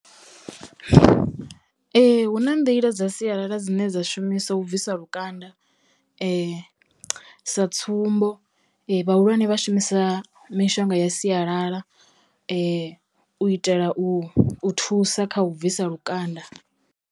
Ee hu na nḓila dza sialala dzine dza shumisa u bvisa lukanda sa tsumbo vhahulwane vha shumisa mishonga ya sialala u itela u u thusa kha u bvisa lukanda.